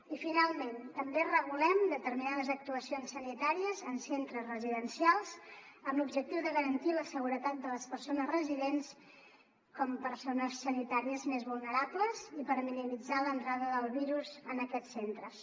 i finalment també regulem determinades actuacions sanitàries en centres residencials amb l’objectiu de garantir la seguretat de les persones residents com a persones sanitàries més vulnerables i per minimitzar l’entrada del virus en aquests centres